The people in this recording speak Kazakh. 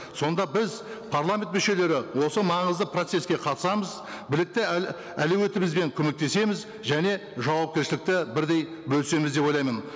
сонда біз парламент мүшелері осы маңызды процеске қатысамыз білікті әлеуметімізбен көмектесеміз және жауапкершілікті бірдей бөлісеміз деп ойлаймын